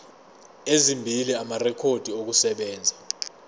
ezimbili amarekhodi okusebenza